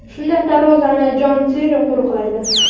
Shunda darvozani Jon Terri qo‘riqlaydi.